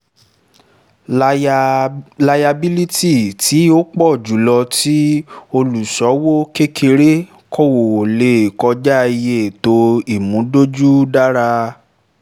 layabílítì tí ó pọ̀ jùlọ tí olùṣowó kékeré kò lè kọjá iye ètò ìmúdójú rárá